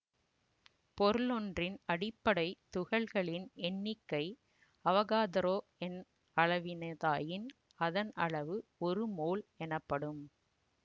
பொருளொன்றின் அடிப்படை துகள்களின் எண்ணிக்கை அவகாதரோ எண் அளவினதாயின் அதன் அளவு ஒரு மோல் எனப்படும்